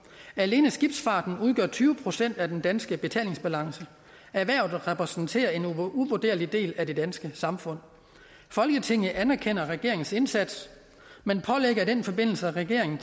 alene skibsfarten udgør tyve procent af den danske betalingsbalance erhvervet repræsenterer en uvurderlig del af det danske samfund folketinget anerkender regeringens indsats men pålægger i den forbindelse regeringen